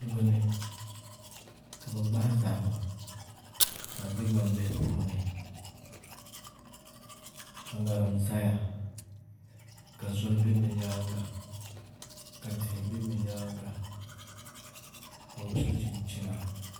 Kuligi ni ka bi gbahi zahama ka di bɛ gbambihi puuni ka ŋarim ʒɛya ka zoli bɛ bi nyaanga ka tihi bɛ bi nyaanga ka bi so chinchina